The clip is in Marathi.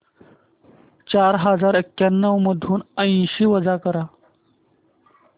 चार हजार एक्याण्णव मधून ऐंशी वजा कर